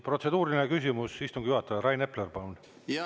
Protseduuriline küsimus istungi juhatajale, Rain Epler, palun!